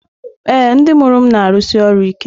Ee, ndị mụrụ m na-arụsi ọrụ ike.